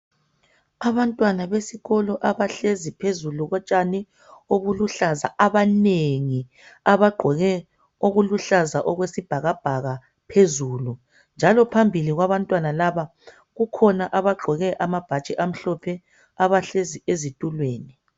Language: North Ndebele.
Abantwana besikolo abahlezi phezulu kotshani oluluhlaza abanengi abagqoke okuluhlaza okwesibhakabhaka phezulu njalo phambili kwabantwana laba kukhona abagqoke amabhatshi amhlophe abahlezi ezitulweni.